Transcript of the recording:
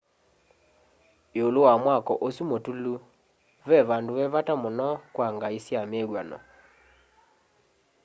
iulu wa mwako usu mutulu ve vandu ve vata muno kwa ngai sya mivw'ano